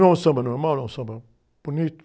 Não é um samba normal, não é um samba bonito?